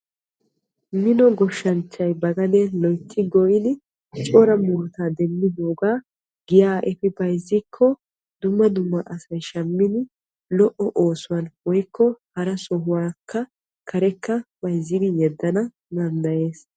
Mino goshshanchchay ba gaden goyiddi lo'o murutta demmoga lo'o marccuwa demmanawu karekka yeddanna danddayees.